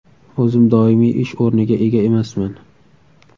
O‘zim doimiy ish o‘rniga ega emasman.